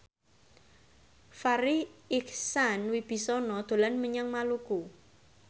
Farri Icksan Wibisana dolan menyang Maluku